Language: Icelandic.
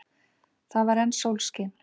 Það var enn sólskin.